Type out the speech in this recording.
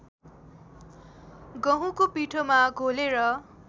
गहुँको पिठोमा घोलेर